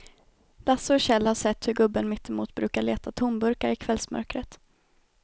Lasse och Kjell har sett hur gubben mittemot brukar leta tomburkar i kvällsmörkret.